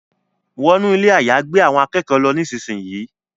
Wọnú Ilé àyágbé àwọn akẹ́kọ̀ọ́ ló nísìsiyìí!